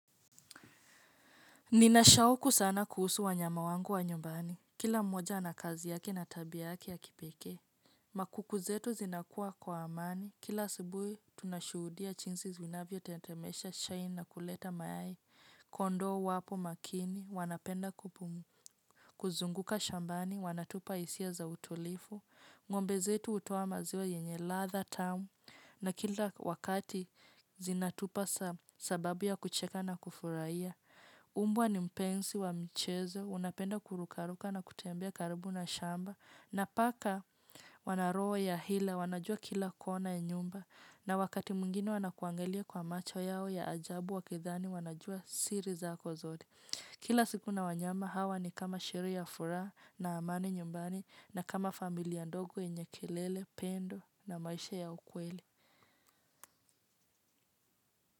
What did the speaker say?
Nina shauku sana kuhusu wanyama wangu wa nyumbani. Kila mmoja ana kazi yake na tabia yake ya kipekee. Makuku zetu zinakua kwa amani. Kila asubuhi tunashuhudia jinsi zinavyotetemesha chai na kuleta mayai. Kondoo wapo makini wanapenda kupumu. Kuzunguka shambani wanatupa hisia za utulivu. Ngombe zetu hutoa maziwa yenye ladha tamu na kila wakati zinatupa sababu ya kucheka na kufurahia. Mbwa ni mpenzi wa mchezo, unapenda kurukaruka na kutembea karibu na shamba na paka wana roho ya hila, wanajua kila kona ya nyumba na wakati mwingine wanakuangalia kwa macho yao ya ajabu wakidhani wanajua siri zako zote kila siku na wanyama hawa ni kama siri ya furaha na amani nyumbani. Na kama familia ndogo yenye kelele, pendo na maisha ya ukweli.